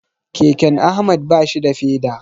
Keken Ahmad bashi da feda.